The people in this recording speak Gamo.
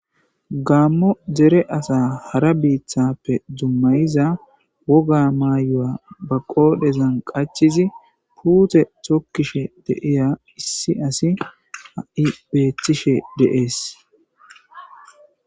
Gammo dere asa hara biithappe dummayiza woga maayoya ba qoodhezan qachizi puute tokkishe deiya issi asi a7i beethishe deees